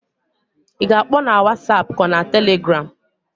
I ga-akpọ na wasap k'ọ bụ na Telegram?